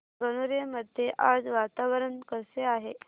गणोरे मध्ये आज वातावरण कसे आहे